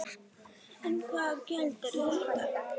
En hvaða gjöld eru þetta?